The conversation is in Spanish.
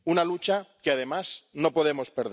una lucha que, además, no podemos perder.